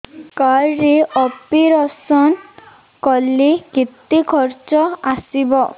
card ରେ operation କଲେ କେତେ ଖର୍ଚ ଆସିବ